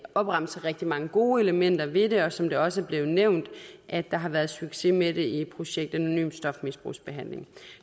opremse rigtig mange gode elementer ved det og som det også er blevet nævnt her der har været succes med det i projektet anonym stofmisbrugsbehandling